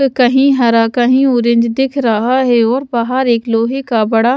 कहीं हरा कहीं ऑरेंज दिख रहा है और बाहर एक लोहे का बड़ा--